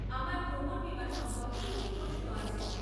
আমার ভ্রমণ বীমা সম্পর্কে কিছু প্রশ্ন আছে।